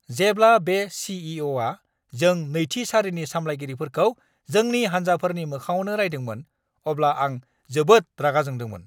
जेब्ला बे सी.इ.अ'.आ जों नैथि सारिनि साम्लायगिरिफोरखौ जोंनि हान्जाफोरनि मोखाङावनो रायदोंमोन, अब्ला आं जोबोद रागा जोंदोंमोन!